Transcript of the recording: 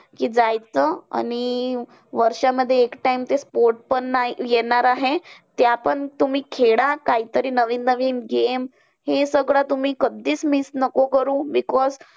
कि जायचं आणि वर्षांमध्ये एक time ते sport पण नाय येणार आहे. ते आपण तुम्ही खेळा कायतरी नवीन नवीन game. हे सगळं तुम्ही कधीच miss नको करू. because